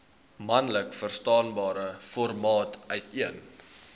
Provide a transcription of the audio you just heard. maklikverstaanbare formaat uiteen